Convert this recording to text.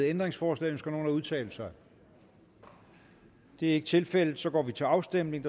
ændringsforslag ønsker nogen at udtale sig det er ikke tilfældet og så går vi til afstemning